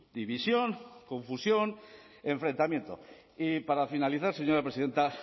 división confusión enfrentamiento y para finalizar señora presidenta